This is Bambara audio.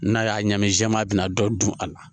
N'a y'a ɲagami jɛman a bɛna dɔ dun a la